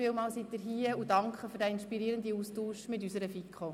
Vielen Dank für Ihren Besuch und den inspirierenden Austausch mit unserer GPK.